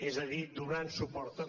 és a dir donant suport també